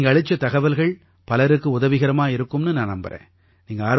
நீங்க அளிச்ச தகவல்கள் பலருக்கு உதவிகரமா இருக்கும்னு நான் நம்பறேன்